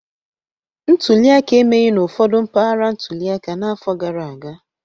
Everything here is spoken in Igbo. Ntuli aka emeghị n'ụfọdụ mpaghara ntuli aka n'afọ gara aga